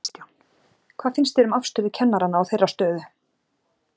Kristján: Hvað finnst þér um afstöðu kennaranna og þeirra stöðu?